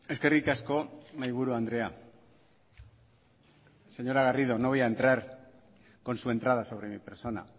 eskerrik asko mahaiburu andrea señora garrido no voy a entrar con su entrada sobre mi persona